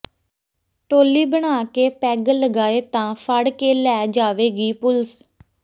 ਟੋਲੀ ਬਣਾ ਕੇ ਪੈੱਗ ਲਗਾਏ ਤਾਂ ਫੜ੍ਹ ਕੇ ਲੈ ਜਾਵੇਗੀ ਪੁਲਸ